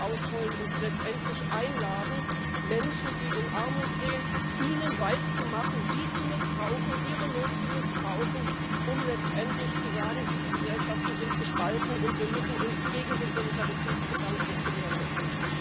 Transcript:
ausrollen und sie letztendlich einladen, den Menschen, die in Armut leben, etwas weiszumachen, sie zu missbrauchen, ihre Not zu missbrauchen, um letztendlich zu sagen Diese Gesellschaften sind gespalten, und wir müssen uns gegen den Solidaritätsgedanken zur Wehr setzen.